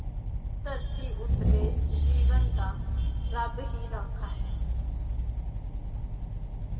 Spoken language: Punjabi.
ਧਰਤੀ ਉੱਤਲੇ ਜੀਵਨ ਦਾ ਰੱਬ ਹੀ ਰਾਖਾ ਹੈ।